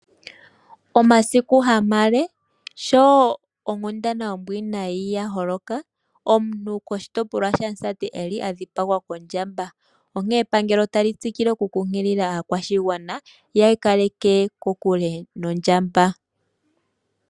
Ondjamba oshinamwenyo shimwe oshinene , shina oshipa oshikukutu nayi no mushila omuleeleka. Ohashi adhika mokuti.